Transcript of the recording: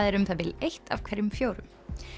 er um það bil eitt af hverjum fjórum